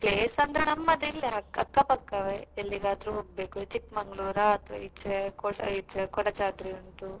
Place ಅಂದ್ರೆ ನಮ್ಮದಿಲ್ಲೆ ಅಕ್ಕ ಪಕ್ಕವೇ ಎಲ್ಲಿಗಾದ್ರೂ ಹೋಗ್ಬೇಕು Chikmagalur ಆ ಅಥವಾ ಈಚೆ ಕೊಡಯಿ~ ಈಚೆ Kodachadri ಉಂಟು.